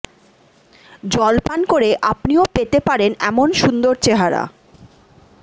জল পান করে আপনিও পেতে পারেন এমন সুন্দর চেহারা